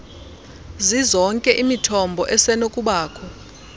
zizonke imithombo esenokubakho